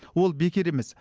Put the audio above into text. ол бекер емес